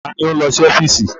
Ta ni ó ń lọ sí ọ́fíìsì?